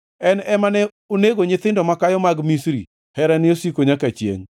ne En mane onego nyithindo makayo mag Misri, Herane osiko nyaka chiengʼ.